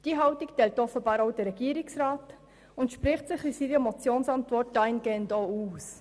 Diese Haltung teilt offenbar auch der Regierungsrat, und dahingehend spricht er sich denn auch in seiner Motionsantwort aus.